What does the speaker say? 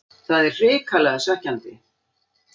Það er hrikalega svekkjandi.